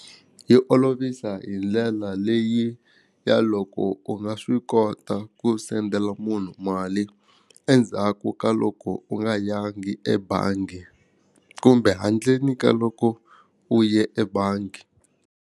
Yi olovisa hi ndlela leyi ya loko u nga swi kota ku sendela munhu mali endzhaku ka loko u nga yangi ebangi kumbe handleni ka loko u ye ebangi.